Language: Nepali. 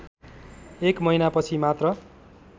एक महिनापछि मात्र